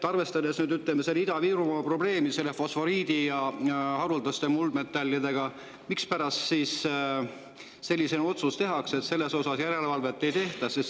Arvestades Ida-Virumaa probleemi fosforiidi ja haruldaste muldmetallidega, mispärast ikkagi tehakse otsus, et selle üle järelevalvet ei tehta?